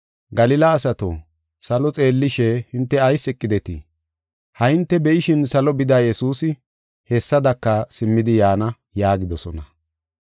“Galila asato, salo xeellishe, hinte ayis eqidetii? Ha hinte be7ishin salo bida Yesuusi hessadaka simmidi yaana” yaagidosona.